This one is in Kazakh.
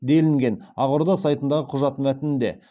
делінген ақорда сайтындағы құжат мәтінінде